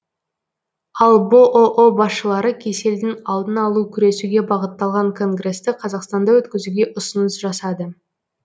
ал бұұ басшылары кеселдің алдын алу күресуге бағытталған конгресті қазақстанда өткізуге ұсыныс жасады